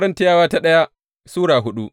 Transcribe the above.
daya Korintiyawa Sura hudu